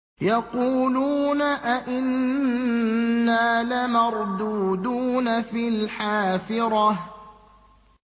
يَقُولُونَ أَإِنَّا لَمَرْدُودُونَ فِي الْحَافِرَةِ